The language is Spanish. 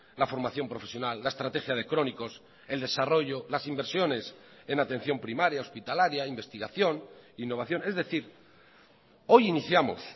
la formación profesional la estrategia de crónicos el desarrollo las inversiones en atención primaria hospitalaria investigación innovación es decir hoy iniciamos